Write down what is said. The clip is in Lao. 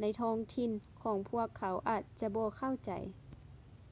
ໃນທ້ອງຖິ່ນຂອງພວກເຂົາອາດຈະບໍ່ເຂົ້າໃຈ